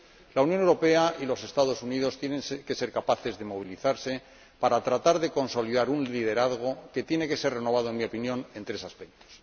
La Unión Europea y los Estados Unidos tienen que ser capaces de movilizarse para tratar de consolidar un liderazgo que tiene que ser renovado, en mi opinión, en tres aspectos.